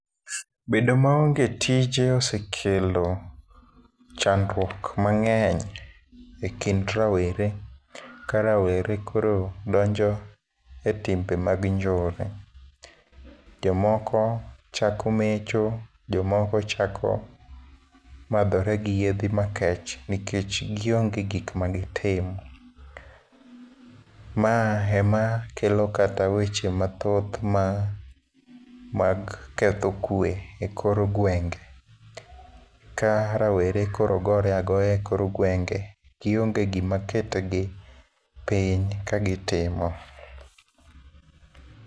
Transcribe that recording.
Bedo maonge tije osekelo chandruok mangény e kind rawere. Ka rawere koro donjo e timbe mag njore. Jomoko chako mecho, jomoko chako madhore gi yiedhi makech, nikech gionge gik ma gitim. Ma ema kelo kata weche mathoth ma, mag ketho kwe e kor gwenge. Ka rowere koro gore agoya e kor gwenge, gionge gima ketgi piny ka gitimo.